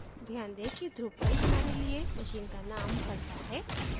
ध्यान दें कि drupal हमारे लिए machine का name भरता है